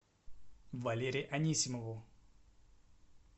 валере анисимову